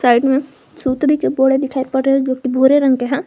Side में सुतरी के बोड़े दिखाई पड़ रहे है जो की भूरे रंग के हैं।